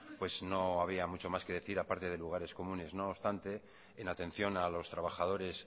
pues no había mucho más que decir a parte de lugares comunes no obstante en atención a los trabajadores